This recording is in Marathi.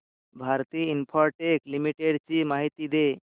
भारती इन्फ्राटेल लिमिटेड ची माहिती दे